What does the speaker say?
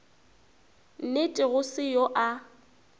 nnete go se yo a